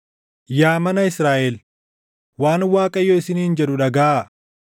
Yaa mana Israaʼel, waan Waaqayyo isiniin jedhu dhagaʼaa.